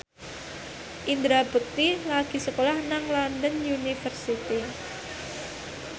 Indra Bekti lagi sekolah nang London University